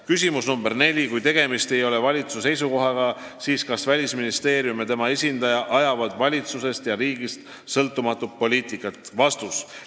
Küsimus nr 4: "Kui tegemist ei ole valitsuse seisukohaga, siis kas Välisministeerium ja tema esindajad ajavad valitsusest ja riigist sõltumatut poliitikat?